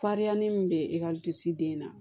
Farinya ni min bɛ ekɔlisiden na